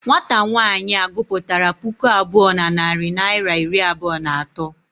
Nwata nwaanyị a gụpụtara puku abụọ na narị naịra iri abụọ na atọ.